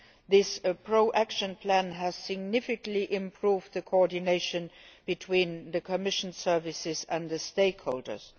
This pro action plan has significantly improved coordination between the Commission services and stakeholders.